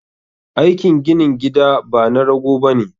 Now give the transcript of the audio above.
Aikin ginin gida bana rago bane